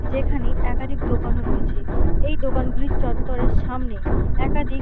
যেখানে একাধিক দোকানও রয়েছে এই দোকানগুলোর চত্বরের সামনে একাধিক--